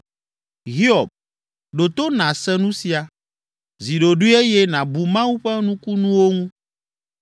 “Hiob, ɖo to nàse nu sia, zi ɖoɖoe eye nàbu Mawu ƒe nukunuwo ŋu.